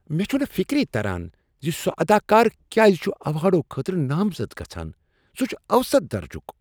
مےٚ چھٗنہٕ فِكری تران زسُہ اداکار کیٛاز چھ ایوارڈو خٲطرٕ نامزد گژھان۔ سہ چھ اوسط درجُک۔